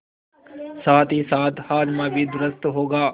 साथहीसाथ हाजमा भी दुरूस्त होगा